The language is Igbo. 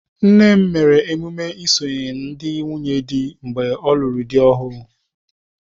Nnem mere emume isonye ndị nwunye di oge ọlụrụ dị ọhụụ.